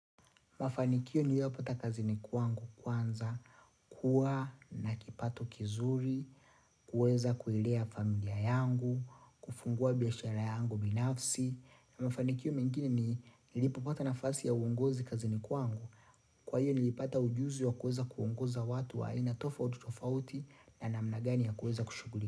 Mafanikio niliyopata kazini kwangu kwanza, kuwa na kipato kizuri, kuweza kuilea familia yangu, kufungua biashara yangu binafsi. Mafanikio mengine nilipopata nafasi ya uongozi kazini kwangu. Kwa hiyo nilipata ujuzi wa kuweza kuongoza watu wa aina tofauti tofauti na namna gani ya kuweza kushuguli.